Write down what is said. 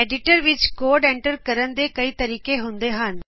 editor ਵਿਚ code enter ਕਰਨ ਦੇ ਕਈ ਤਰੀਕੇ ਹੁੰਦੇ ਹਨ